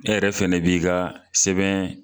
E yɛrɛ fɛnɛ b'i ka sɛbɛn